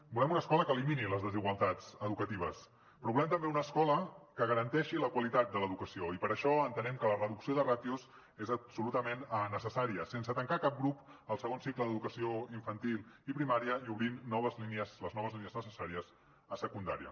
volem una escola que elimini les desigualtats educatives però volem també una escola que garanteixi la qualitat de l’educació i per això entenem que la reducció de ràtios és absolutament necessària sense tancar cap grup al segon cicle d’educació infantil i primària i obrir les noves línies necessàries a secundària